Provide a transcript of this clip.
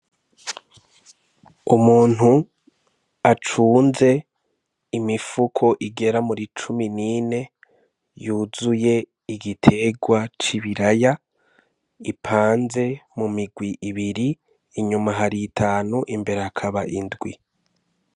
Umuntu acunze imifuko igera muri cumi n'ine yuzuye igiterwa c'ibiraya bipanze mu mirwi ibiri, inyuma hari itanu imbere hakaba indwi.